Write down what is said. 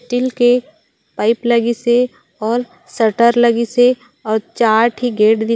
still के pipe लगिस हे और शटर लगिस हे और चार टी गेट दिख--